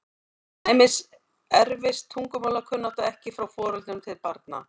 Til dæmis erfist tungumálakunnátta ekki frá foreldrum til barna.